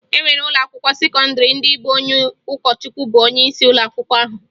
E nwere ụlọakwụkwọ sekọndịrị ndị bụ onye ụkọchukwu bụ onyeisi ụlọakwụkwọ ahụ